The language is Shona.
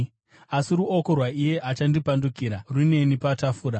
Asi ruoko rwaiye achandipandukira runeni patafura.